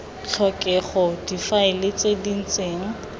tlhokega difaele tse di ntseng